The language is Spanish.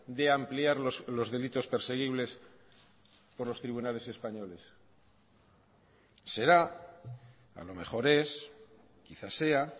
de ampliar los delitos perseguibles por los tribunales españoles será a lo mejor es quizás sea